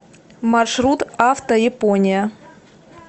маршрут автояпония